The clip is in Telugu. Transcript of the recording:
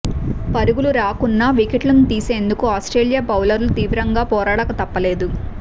పరుగులు రాకున్నా వికెట్ను తీసేందుకు ఆస్ట్రేలియా బౌలర్లు తీవ్రంగా పోరాడక తప్పలేదు